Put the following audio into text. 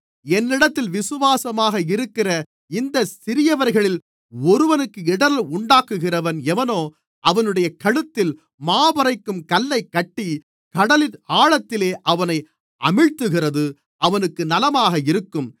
என்னிடத்தில் விசுவாசமாக இருக்கிற இந்தச் சிறியவர்களில் ஒருவனுக்கு இடறல் உண்டாக்குகிறவன் எவனோ அவனுடைய கழுத்தில் மாவரைக்கும் கல்லைக் கட்டி கடலின் ஆழத்திலே அவனை அமிழ்த்துகிறது அவனுக்கு நலமாக இருக்கும்